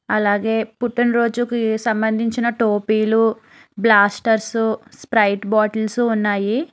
అలాగే పుట్టినరోజుకి సంబంధించిన టోపీలు బ్లాస్టర్స్ స్ప్రైట్ బాటిల్స్ ఉన్నాయి.